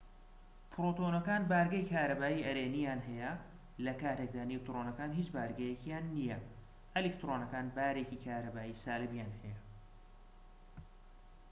پرۆتۆنەکان بارگەی کارەبایی ئەرێنیان هەیە لە کاتێکدا نیوترۆنەکان هیچ بارگەیەکیان نییە ئەلکترۆنەکان بارێکی کارەبایی سالبیان هەیە